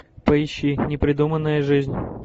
поищи непридуманная жизнь